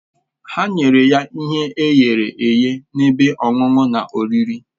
Ha nyere ya ihe eyere eye na ebe ọṅụṅụ na oriri